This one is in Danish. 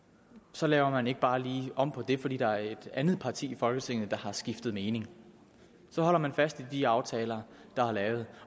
så laver man ikke bare lige om på det fordi der er et andet parti i folketinget der har skiftet mening så holder man fast i de aftaler der er lavet